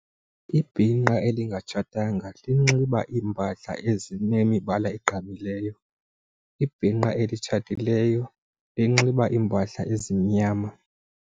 Ibhinqa elingatshatanga linxiba iimpahla ezinemibala eqaqambileyo. Ibhinqa elitshatileyo linxiba iimpahla ezimnyama.